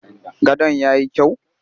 Gadon ya yi kyau?